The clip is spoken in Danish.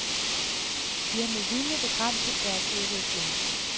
De har med vilje begrænset deres udvikling.